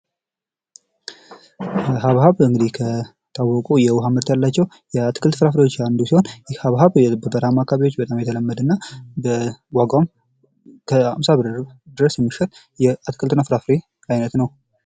ሀብሀብ እንግዲህ የታወቁ የውሃ ምርት ያላቸው የአትክልት ፍራፍሬዎች አንዱ ሲሆን ይህ ሀብሀብ በበረሃማ አካባቢዎች በጣም የተለመደ እና በዋጋው እስከ አምሳ ብር ድረስ የሚሸጥ የአትክልትና ፍራፍሬ አይነት ነው።